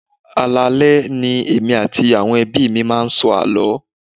Alaale ni èmi àti àwọn ẹbí mi máa ń sọ àló.